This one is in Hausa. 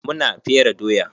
Mu na fere doya.